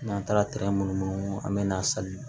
N'an taara munumunu an bɛ na sali